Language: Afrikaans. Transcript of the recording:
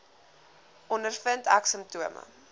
ondervind ek simptome